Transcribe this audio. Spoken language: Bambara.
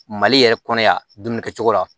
Mali yɛrɛ kɔnɔ yan dumuni kɛ cogo la